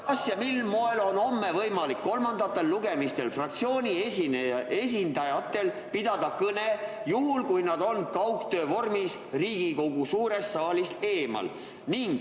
Kas ja mil moel on homme võimalik fraktsioonide esindajatel pidada kolmandate lugemiste käigus kõnet, juhul kui nad on kaugtöö vormis Riigikogu suurest saalist eemal?